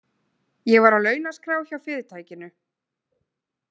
Ég var á launaskrá hjá fyrirtækinu.